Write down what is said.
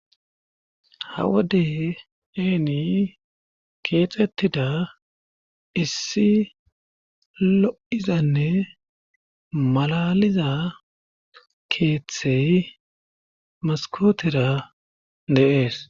Ha wode eeni keexettida issi lo7izanne malaaliza keethey maskkootera de7ees.